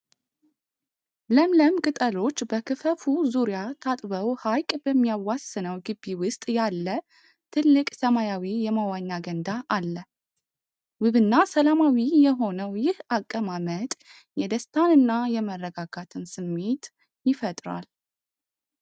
ለምለም ቅጠሎች በክፈፉ ዙሪያ ታጥበው ሐይቅ በሚያዋስነው ግቢ ውስጥ ያለ ትልቅ ሰማያዊ የመዋኛ ገንዳ አለ። ውብና ሰላማዊ የሆነው ይህ አቀማመጥ የደስታንና የመረጋጋትን ስሜት ይፈጥራል።